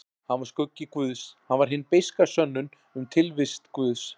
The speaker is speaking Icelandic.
Hann var skuggi guðs, hann var hin beiska sönnun um tilvist guðs.